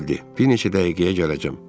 Bir neçə dəqiqəyə gələcəm.